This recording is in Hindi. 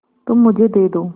तुम मुझे दे दो